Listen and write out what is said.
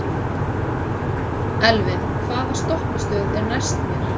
Elvin, hvaða stoppistöð er næst mér?